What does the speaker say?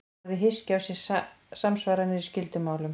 Orðið hyski á sér samsvaranir í skyldum málum.